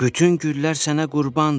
Bütün güllər sənə qurbandır.